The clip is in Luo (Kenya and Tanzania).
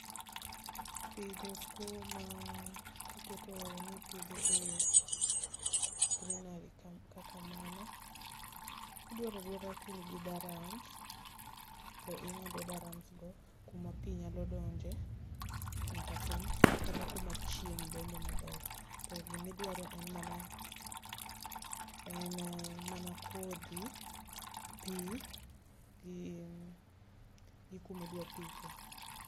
Pidho skuma tiketo nipidhe e greenery kaka mano. Dwaradwara ka in gi darams, to ing'ado darams go kuma pi nya donje nyaka piny, kata kuma chieng' donje maber. To gimidwaro en mana kodhi, pi, gi kumidwa pithe.